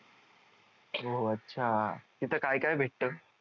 ओ अच्छा तिथं काय काय भेटतं